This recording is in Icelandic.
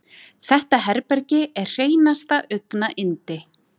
Þetta herbergi er hreinasta augnayndi.